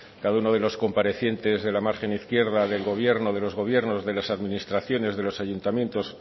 cada uno de los comparecientes de la margen izquierda del gobierno de los gobiernos de las administraciones de los ayuntamientos